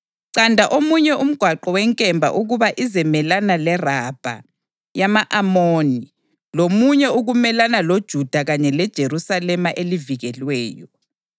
Canda omunye umgwaqo wenkemba ukuba izemelana leRabha yama-Amoni, lomunye ukumelana loJuda kanye leJerusalema elivikelweyo.